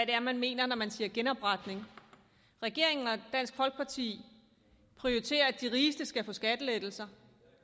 det er man mener når man siger genopretning regeringen og dansk folkeparti prioriterer at de rigeste skal have skattelettelser